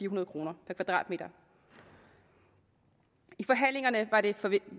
hundrede kroner per kvadratmeter i forhandlingerne